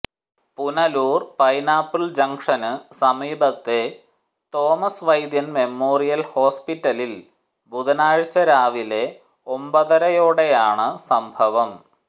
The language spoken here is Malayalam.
പുനലൂർ പൈനാപ്പിൾ ജംഗ്ഷനു സമീപത്തെ തോമസ് വൈദ്യൻ മെമോറിയൽ ഹോസ്പിറ്റലിൽ ബുധനാഴ്ച രാവിലെ ഒമ്പതരയോടെയാണ് സംഭവം